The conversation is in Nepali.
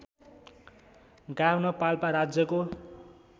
गाभ्न पाल्पा राज्यको